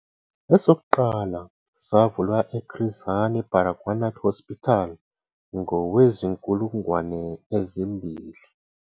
Esokuqala savulwa e-Chris Hani Baragwanath Hospital ngowezi-2000.